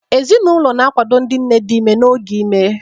Ezinụlọ na-akwado ndị nne dị ime n'oge ime.